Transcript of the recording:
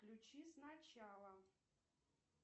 включи сначала